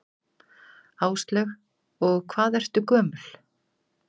Áslaug: Og hvað ertu gömul?